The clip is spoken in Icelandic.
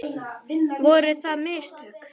Voru það mistök?